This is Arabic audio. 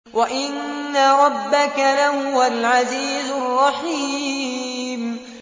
وَإِنَّ رَبَّكَ لَهُوَ الْعَزِيزُ الرَّحِيمُ